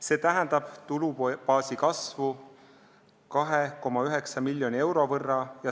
See tähendab tulubaasi kasvu 2,9 miljoni euro võrra.